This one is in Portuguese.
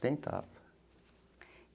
Tentava.